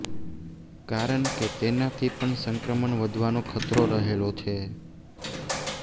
કારણ કે તેનાથી પણ સંક્રમણ વધવાનો ખતરો રહેલો છે